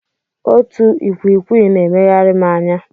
Otu ikwikwii na-emegharị m anya.